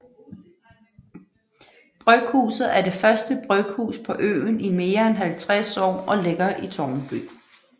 Bryghuset er det første bryghus på øen i mere end 50 år og ligger i Tårnby